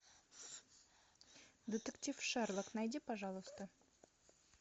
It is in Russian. детектив шерлок найди пожалуйста